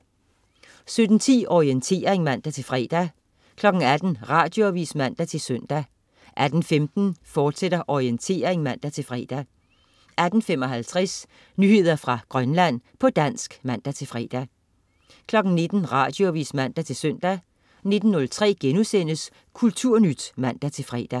17.10 Orientering (man-fre) 18.00 Radioavis (man-søn) 18.15 Orientering, fortsat (man-fre) 18.55 Nyheder fra Grønland, på dansk (man-fre) 19.00 Radioavis (man-søn) 19.03 Kulturnyt* (man-fre)